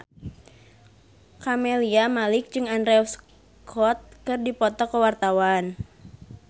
Camelia Malik jeung Andrew Scott keur dipoto ku wartawan